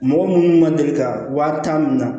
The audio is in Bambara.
Mɔgɔ minnu ma deli ka wa tan min na